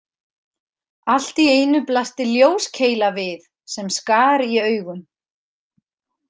Allt í einu blasti ljóskeila við sem skar í augun.